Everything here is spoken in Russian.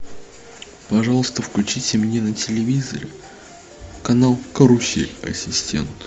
пожалуйста включите мне на телевизоре канал карусель ассистент